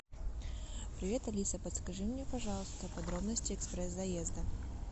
привет алиса подскажи мне пожалуйста подробности экспресс заезда